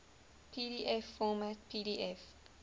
pdf format pdf